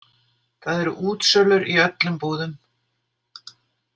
Það eru útsölur í öllum búðum.